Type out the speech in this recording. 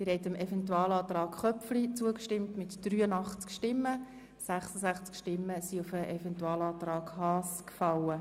Der Grosse Rat hat mit 83 Stimmen dem Eventualantrag Köpfli zugestimmt, 66 Stimmen sind auf den Eventualantrag Haas gefallen.